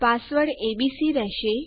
password ABC રહેશે